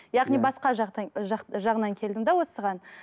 яғни басқа жағынан келдім де осыған